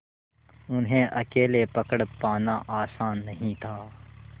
उन्हें अकेले पकड़ पाना आसान नहीं था